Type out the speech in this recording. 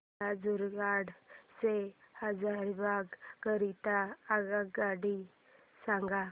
मला झारखंड से हजारीबाग करीता आगगाडी सांगा